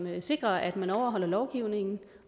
sikrer at man overholder lovgivningen